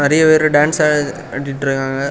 நிறைய பேரு டான்ஸ் ஆடிட்டு இருக்காங்க.